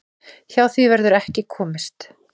Hjá því verður ekki komist.